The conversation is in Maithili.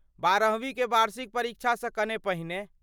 बारहवी के वार्षिक परीक्षासँ कने पहिने।